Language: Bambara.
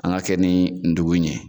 An gan a kɛ ni ndugu ɲe